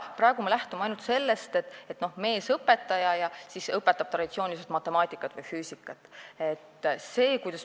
Praegu me lähtume ainult sellest, et meesõpetaja õpetab traditsiooniliselt matemaatikat või füüsikat.